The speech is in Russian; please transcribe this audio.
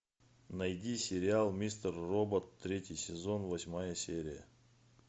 найди сериал мистер робот третий сезон восьмая серия